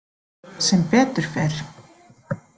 Sem betur fer.